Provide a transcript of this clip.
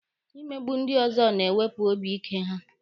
Imegbu ndị ọzọ na-ewepụ obi ike ha.